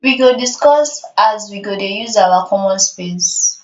we go discuss as we go dey use our common space